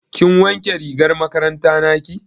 Kin wanke rigar makaranta naki?